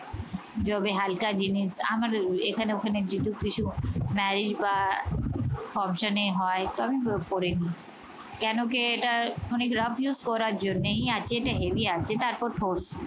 যবে হালকা জিনিস আমার এখানে ওখানে যেহেতু কিছু marriage বা function এ হয় তাও পরে নেই। কেন কি এটা rough use করার জন্যেই আছে এটা heavy আছে